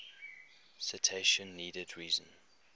citation needed reason